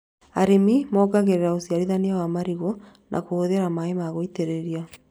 Arĩmi mongagĩrĩra ũciarithania wa marigũ na kũhũthĩra maĩ ma gũitĩrĩria